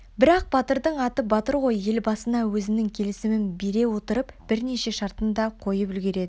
бірақ батырдың аты батыр ғой елбасына өзінің келісімін бере отырып бірнеше шартын да қойып үлгереді